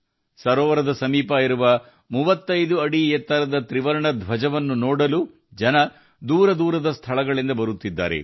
ಕೆರೆಯ ಬಳಿ ಇರುವ 35 ಅಡಿ ಎತ್ತರದ ತ್ರಿವರ್ಣ ಧ್ವಜವನ್ನು ನೋಡಲು ದೂರದೂರುಗಳಿಂದ ಕೂಡ ಜನರು ಬರುತ್ತಿದ್ದಾರೆ